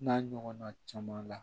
N'a ɲɔgɔnna caman la